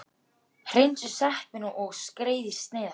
Hreinsið sveppina og skerið í sneiðar.